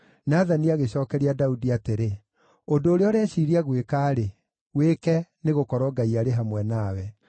Nathani agĩcookeria Daudi atĩrĩ, “Ũndũ ũrĩa ũreciiria gwĩka-rĩ, wĩke, nĩgũkorwo Ngai arĩ hamwe nawe.”